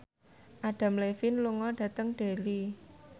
Adam Levine lunga dhateng Derry